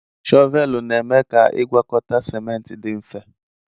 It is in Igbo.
shọvelụ na-eme ka igwakọta ciment di mfe.